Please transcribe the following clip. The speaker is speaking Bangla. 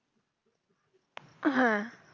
হ্যাঁ